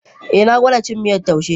Eh na gwada cin miyar taushe.